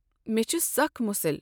مےٚ چھ سخت مُسِل۔